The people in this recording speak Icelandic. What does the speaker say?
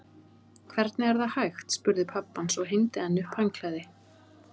Hvernig er það hægt? spurði pabbi hans og hengdi enn upp handklæði.